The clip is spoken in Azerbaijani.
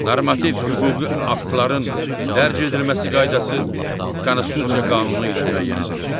Normativ hüquqi aktların dərc edilməsi qaydası Konstitusiya qanunu ilə müəyyən edilir.